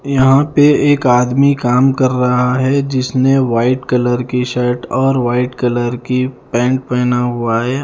यहां पे एक आदमी काम कर रहा है जिसने व्हाइट कलर की शर्ट और व्हाइट कलर की पेंट पेहना हुआ है।